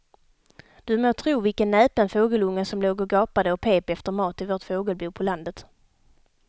Du må tro vilken näpen fågelunge som låg och gapade och pep efter mat i vårt fågelbo på landet.